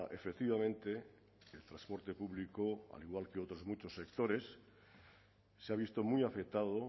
efectivamente el transporte público al igual que otros muchos sectores se ha visto muy afectado